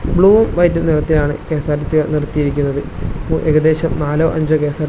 ബ്ലൂവും വൈറ്റും നിറത്തിലാണ് കെ_എസ്_ആർ_ടി_സികൾ നിർത്തിയിരിക്കുന്നത് ഏകദേശം നാലോ അഞ്ചോ കെ_എസ്_ആർ_ടി_സികൾ --